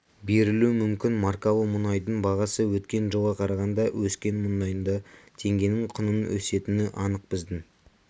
берілуі мүмкін маркалы мұнайдың бағасы өткен жылға қарағанда өскен мұндайда теңгенің құнының өсетіні анық біздің